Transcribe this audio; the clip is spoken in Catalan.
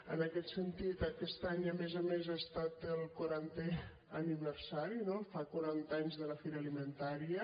en aquest sentit aquest any a més a més n’ha estat el quarantè aniversari no fa quaranta anys de la fira alimentaria